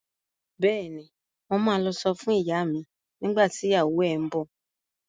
Bẹ́ẹ̀ni, mo ma lọ sọ fún ìyá mi nígbà tí ìyàwó ẹ ń bọ̀